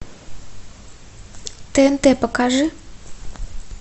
тнт покажи